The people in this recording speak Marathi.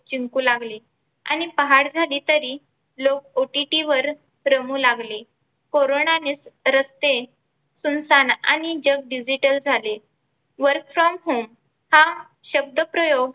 जिंकू लागले आणि पहाट झाली तरी लोक OTT वर रमू लागले. कोरोनाने रस्ते सुमसान आणि जग Digital झाले Work From Home हा शब्दप्रयोग